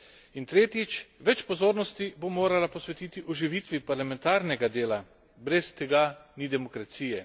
In tretjič, več pozornosti bo morala posvetiti oživitvi parlamentarnega dela. Brez tega ni demokracije.